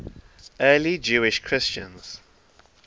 early jewish christians